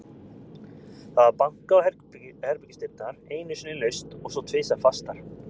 Það var bankað á herbergisdyrnar, einu sinni laust og svo tvisvar fastar.